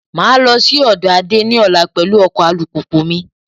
Máa lọ sí ọ̀dọ̀ Ade ní ọ̀la pẹ̀lú ọkọ alùpùpù mi